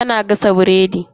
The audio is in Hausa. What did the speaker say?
Tana gasa biredi.